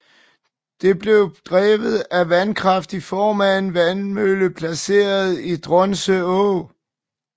Det blev drevet af vandkraft i form af en vandmølle placeret i Donse Å